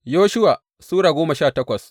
Yoshuwa Sura goma sha takwas